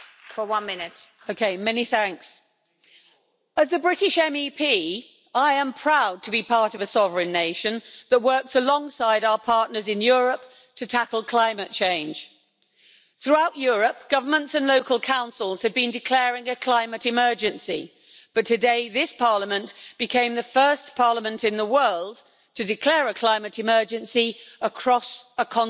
Madam President, as a British MEP I am proud to be part of a sovereign nation that works alongside our partners in Europe to tackle climate change. Throughout Europe, governments and local councils have been declaring a climate emergency, but today this Parliament became the first parliament in the world to declare a climate emergency across a continent.